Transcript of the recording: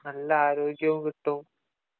നല്ല ആരോഗ്യവും കിട്ടും